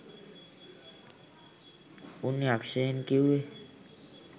උන් යක්ෂයන් කිව්වෙ